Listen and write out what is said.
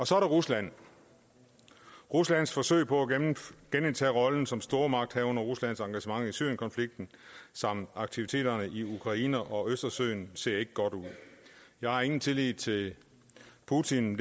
så er der rusland ruslands forsøg på at genindtage rollen som stormagt og ruslands engagement i syrienkonflikten samt aktiviteterne i ukraine og østersøen ser ikke godt ud jeg har ingen tillid til putin